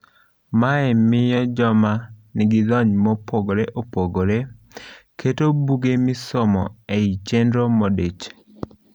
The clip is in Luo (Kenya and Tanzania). Mae miyo joma nigilony mopogre opogre keto buge misomo ei chenrogi modich.